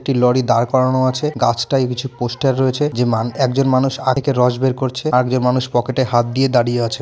একটি লরি দাঁড় করানো আছে গাছটাই কিছু পোস্টার রয়েছে যে মানে একজন মানুষ আরেক রস বের করছে আগে মানুষ পকেটে হাত দিয়ে দাঁড়িয়ে আছে।